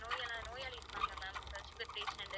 நோயெல்லாம் நோயாளி இருப்பாங்க ma'am sugar patient உ